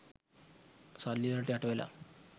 සල්ලි වලට යට වෙලා.